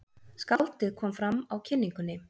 Skáldið kom fram á kynningunni.